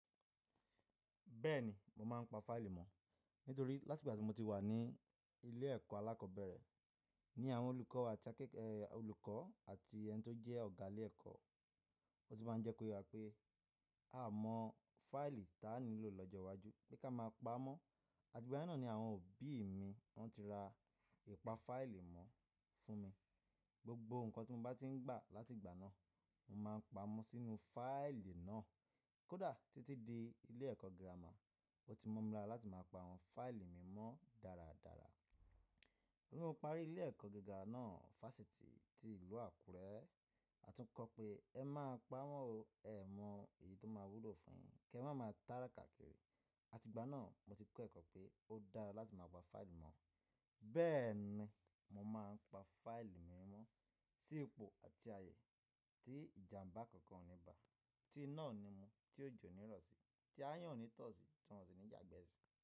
Bẹ́ẹ̀ni, mo máa ń pa fáìlì mọ̀ nítorí láti ìgbà tí mo ti wà ní ilé ẹ̀kọ́ alákọ̀ọ́bẹ̀rẹ̀ ní àwọn olùkọ́ àti akẹ́kọ̀ọ́, olùkọ́ àti ẹni tó jẹ́ ọ̀gá ilé ẹ̀kọ́, ó ti máa ń jẹ́ kó yà pé a mọ fáìlì táà nílò lọ́jọ́ iwájú pé ká máa pa mọ́. Àti ìgbà náà ni àwọn òbí mi wọn ti ra ìpa fáìlì mọ́ fún mi. Gbogbo nǹkan tí mo bá ti ń gbà láti ìgbà náà, mo máa ń pa wọ́n sínú fáìlì náà. Kódà títí di ilé ẹ̀kọ́ gírámà, ó ti mọ̀ mi lára láti máa pa àwọn fáìlì mi mọ́ dáradára. Lẹ́yìn mo parí ilé ẹ̀kọ́ gíga náà, Fásitì ti Ìlú Àkúrẹ́, a tún kọ́ pé ẹ má pa wọ́n o, ẹ mọ èyí tó máa wúlò fún ẹ kí ẹ máa ma tàrá kàkiri. Àti ìgbà náà mo ti kọ́ ẹ̀kọ́ pé ó dára láti máa pa fáìlì mọ̀. Bẹ́ẹ̀ ni mo máa ń pa fáìlì mi mọ́ sí epo àti ààyè tí ìjàmbá kankan ò ní bà, tí iná ò ní mú, tí òjò ní rọ̀ sí, tí ayán ò ní tọ̀ sí, tọ̀ sí ní jẹ́ àgbẹ́ sí.